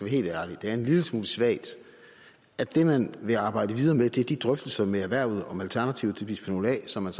helt ærlig at det er en lille smule svagt at det man vil arbejde videre med er de drøftelser med erhvervet om alternativet til bisfenol a som man